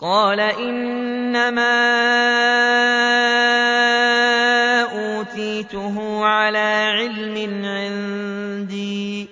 قَالَ إِنَّمَا أُوتِيتُهُ عَلَىٰ عِلْمٍ عِندِي ۚ